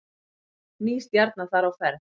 Ný stjarna þar á ferð